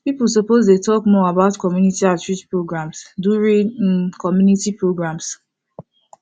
people suppose dey talk more about community outreach programs during um community programs